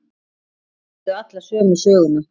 Þeir sögðu allir sömu söguna.